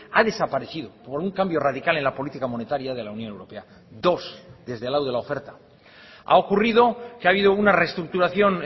ha desaparecido por un cambio radical en la política monetaria de la unión europea dos desde el lado de la oferta ha ocurrido que ha habido una reestructuración